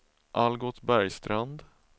Algot Bergstrand